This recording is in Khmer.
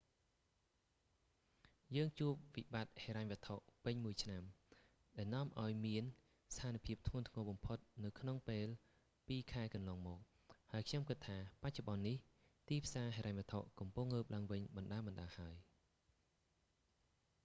យើងជួបវិបត្តិហិរញ្ញវត្ថុពេញមួយឆ្នាំ ដែលនាំឲ្យមានស្ថានភាពធ្ងន់ធ្ងរបំផុតនៅក្នុងពេលពីរខែកន្លងមក ហើយខ្ញុំគិតថា បច្ចុប្បន្ននេះ ទីផ្សារហិរញ្ញវត្ថុកំពុងងើបឡើងវិញបណ្ដើរៗហើយ